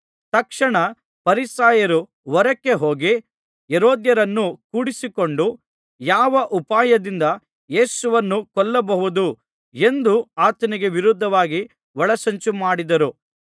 ತಕ್ಷಣ ಫರಿಸಾಯರು ಹೊರಕ್ಕೆ ಹೋಗಿ ಹೆರೋದ್ಯರನ್ನು ಕೂಡಿಕೊಂಡು ಯಾವ ಉಪಾಯದಿಂದ ಯೇಸುವನ್ನು ಕೊಲ್ಲಬಹುದು ಎಂದು ಆತನಿಗೆ ವಿರೋಧವಾಗಿ ಒಳಸಂಚುಮಾಡಿದರು